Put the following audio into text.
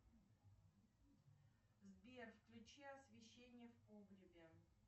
сбер включи освещение в погребе